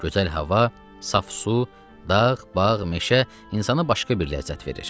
Gözəl hava, saf su, dağ, bağ, meşə insana başqa bir ləzzət verir.